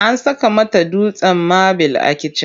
An saka mata dutsen mabil a kitchen.